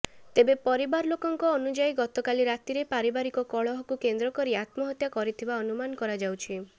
ତେବେ ପରିବାର ଲୋକଙ୍କ ଅନୁଯାୟୀ ଗତକାଲ ରାତିରେ ପାରିବାରିକ କଳହକୁ କେନ୍ଦ୍ରକରି ଆତ୍ମହତ୍ୟା କରିଥିବା ଅନୁମାନ କରାଯାଉଛି